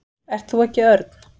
Ert þú ekki Örn?